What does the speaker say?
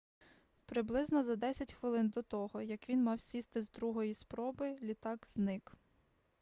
приблизно за десять хвилин до того як він мав сісти з другої спроби літак зник